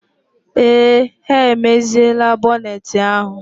Ee, ha emeziela bọneeti ahụ.